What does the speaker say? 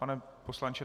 Pane poslanče?